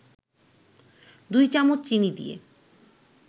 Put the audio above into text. ২ চামচ চিনি দিয়ে